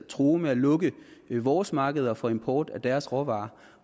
truede med at lukke vores markeder for import af deres råvarer